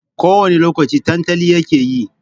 Ko wani lokaci tantali yake yi.